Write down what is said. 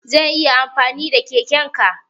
Zan iya amfani da keken ka?